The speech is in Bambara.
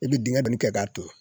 I bɛ dingɛ don kɛ k'a turu